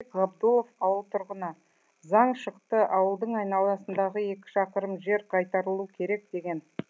ғабдолов ауыл тұрғыны заң шықты ауылдың айналасындағы екі шақырым жер қайтарылуы керек деген